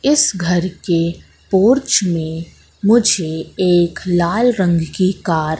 इस घर के पोर्च में मुझे एक लाल रंग की कार --